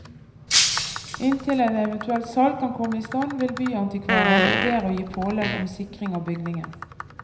Inntil et eventuelt salg kan komme i stand vil byantikvaren vurdere å gi pålegg om sikring av bygningen.